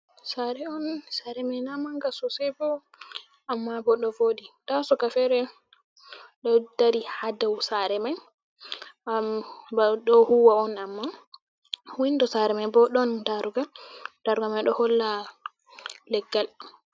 Sare on sare mai na manga sosai bo amma bo ɗo voɗi nda suka ferel ɗo dari ha dau sare mai am ba oɗo huwa on amma, windo sare mai bo ɗon darugal daruga mai ɗo holla leggal.